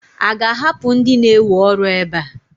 A ga-ahapụ ndị na-ewe ọrụ ebe a?